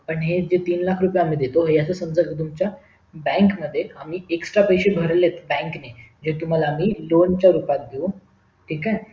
पण हे जे तीन लाख रुपय आम्ही देतो हे असं समजा कि तुमच्या bank मध्ये आम्ही extra पैसे भरले bank नी जे आम्ही तुम्हला lone रूपात देऊ ठीक आहे